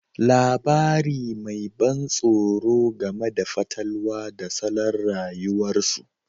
Labari mai ban tsoro game da fatalwa da salon rayuwarsu